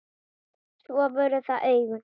Svo voru það augun.